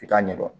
I t'a ɲɛdɔn